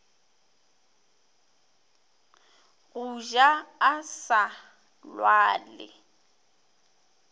go ja a sa lwale